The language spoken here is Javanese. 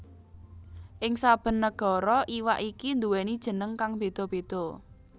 Ing saben nagara iwak iki nduwèni jeneng kang béda béda